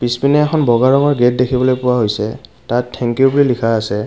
পিছপিনে এখন বগা ৰঙৰ গেট দেখিবলৈ পোৱা হৈছে তাত থে্ঙ্ক ইউ বুলি লিখা আছে।